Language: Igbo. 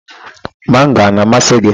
Mango a na-amasị gị?